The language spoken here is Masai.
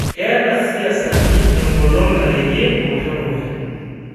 Ketaa lsiasani engolon narewue olosho dukuya